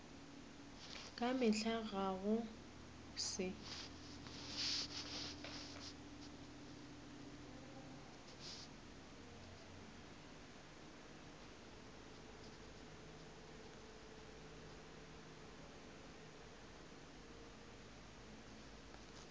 ka mehla ga go se